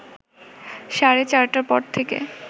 সাড়ে চারটার পর থেকে